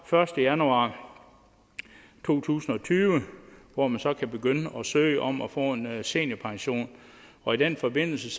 første januar to tusind og tyve hvor man så kan begynde at søge om at få en seniorpension og i den forbindelse